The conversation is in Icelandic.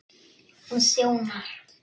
Hún þjónar